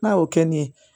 N'a y'o kɛ nin ye